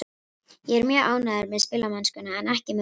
Ég er mjög ánægður með spilamennskuna en ekki með úrslitin.